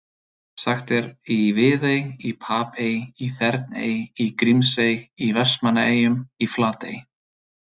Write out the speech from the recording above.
Sagt er í Viðey, í Papey, í Þerney, í Grímsey, í Vestmannaeyjum, í Flatey.